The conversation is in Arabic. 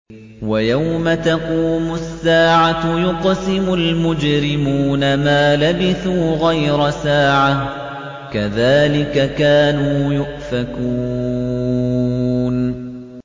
وَيَوْمَ تَقُومُ السَّاعَةُ يُقْسِمُ الْمُجْرِمُونَ مَا لَبِثُوا غَيْرَ سَاعَةٍ ۚ كَذَٰلِكَ كَانُوا يُؤْفَكُونَ